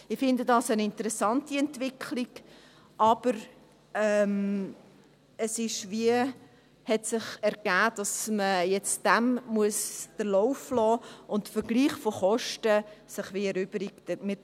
Ich finde das eine interessante Entwicklung, aber es hat sich ergeben, dass man dem jetzt den Lauf lassen muss und sich der Vergleich von Kosten wie erübrigt.